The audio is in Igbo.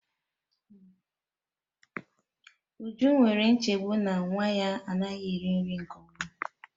Uju nwere nchegbu na nwa ya anaghị eri nri nke ọma